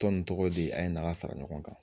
Tɔn in tɔgɔ de a ye n'an ka fara ɲɔgɔn kan.